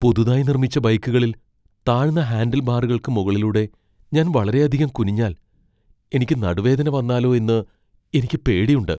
പുതുതായി നിർമ്മിച്ച ബൈക്കുകളിൽ താഴ്ന്ന ഹാൻഡിൽബാറുകൾക്ക് മുകളിലൂടെ ഞാൻ വളരെയധികം കുനിഞ്ഞാൽ എനിക്ക് നടുവേദന വന്നാലോ എന്ന് എനിക്ക് പേടിയുണ്ട് .